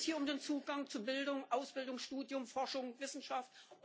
Geht es hier um den Zugang zu Bildung, Ausbildung, Studium, Forschung und Wissenschaft?